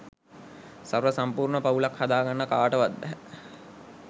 සර්ව සම්පූර්ණ පවුලක් හදාගන්න කාටවත් බැහැ.